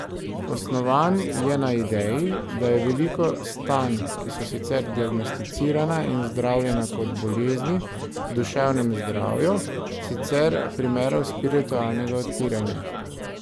Osnovan je na ideji, da je veliko stanj, ki so sicer diagnosticirana in zdravljena kot bolezni v duševnem zdravju, sicer primerov spiritualnega odpiranja.